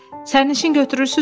Sərnişin götürürsünüzmü?